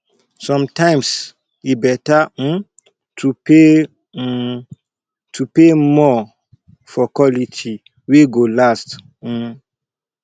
sometimes e better um to pay um to pay more for quality wey go last um